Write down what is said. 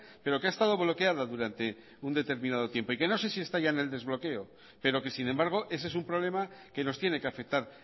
pero que ha estado bloqueada durante un determinado tiempo y que no sé si está ya en el desbloqueo pero que sin embargo ese es un problema que nos tiene que afectar